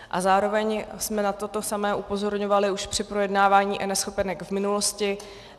A zároveň jsme na toto samé upozorňovali už při projednávání eNeschopenek v minulosti.